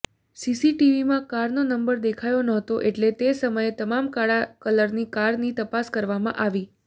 સીસીટીવીમાં કારનો નંબર દેખાયો નહોતો એટલા તે સમયની તમામ કાળા કલરની કારની તપાસ કરવામાં આવી